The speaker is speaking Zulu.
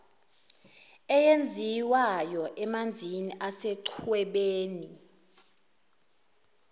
eyenziwayo emanzini asechwebeni